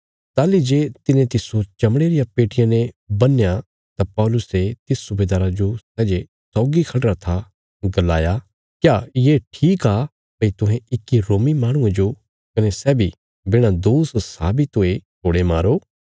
ताहली जे तिने तिस्सो चमड़े रिया पेट्टिया ने बन्हया तां पौलुसे तिस सुबेदारा जो सै जे सौगी खढ़िरा था गलाया क्या ये ठीक आ भई तुहें इक्की रोमी माहणुये जो कने सै बी बिणा दोष साबित हुये कोड़े मारो